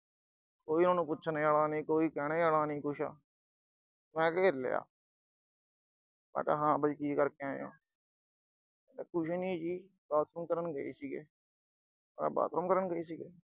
ਕੋਈ ਉਨ੍ਹਾਂ ਨੂੰ ਪੁੱਛਣ ਆਲਾ ਨੀਂ, ਕੋਈ ਕਹਿਣ ਆਲਾ ਨੀਂ ਕੁਛ, ਮੈਂ ਘੇਰ ਲਿਆ, ਮੈਂ ਕਿਹਾ ਹਾਂ ਬਈ, ਕੀ ਕਰਕੇ ਆਏ ਓਂ, ਕਹਿੰਦੇ ਕੁਛ ਨੀਂ ਜੀ, ਬਾਥਰੂਮ ਕਰਨ ਗਏ ਸੀਗੇ। ਮੈਂ ਕਿਹਾ ਬਾਥਰੂਮ ਕਰਨ ਗਏ ਸੀਗੇ।